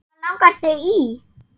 Hvað langar þig í!